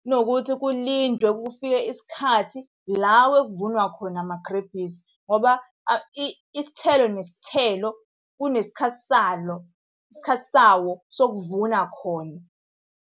Kunokuthi kulindwe kufike isikhathi, la ekuvunwa khona amagrebhisi. Ngoba isithelo nesithelo kunesikhathi salo, isikhathi sawo sokuvuna khona.